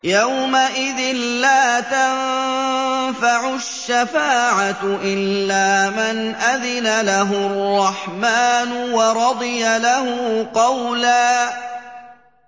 يَوْمَئِذٍ لَّا تَنفَعُ الشَّفَاعَةُ إِلَّا مَنْ أَذِنَ لَهُ الرَّحْمَٰنُ وَرَضِيَ لَهُ قَوْلًا